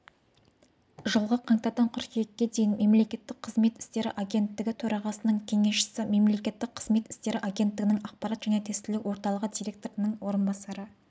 жылғы қаңтардан қыркүйекке дейін мемлекеттік қызмет істері агенттігі төрағасының кеңесшісі мемлекеттік қызмет істері агенттігінің ақпарат және тестілеу орталығы директорының орынбасары